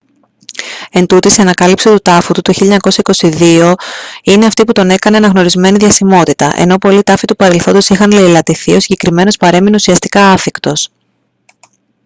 εντούτοις η ανακάλυψη του τάφου του το 1922 τον είναι αυτή που τον έκανε αναγνωρισμένη διασημότητα ενώ πολλοί τάφοι του παρελθόντος είχαν λεηλατηθεί ο συγκεκριμένος παρέμεινε ουσιαστικά άθικτος